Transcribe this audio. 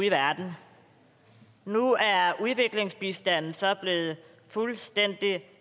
i verden nu er udviklingsbistanden så blevet fuldstændig